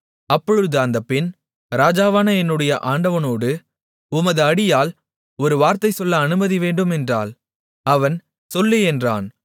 அப்பொழுது அந்த பெண் ராஜாவான என்னுடைய ஆண்டவனோடு உமது அடியாள் ஒரு வார்த்தை சொல்ல அனுமதி வேண்டும் என்றாள் அவன் சொல்லு என்றான்